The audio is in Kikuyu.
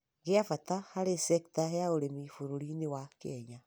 gĩa bata harĩ cekita ya ũrĩmi bũrũri-inĩ Kenya.